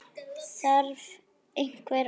Þarf einhver orð?